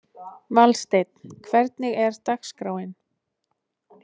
Valsteinn, hvernig er dagskráin?